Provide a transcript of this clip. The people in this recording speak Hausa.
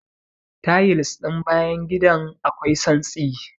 Tayils ɗin bayan gidan akwai tsantsi.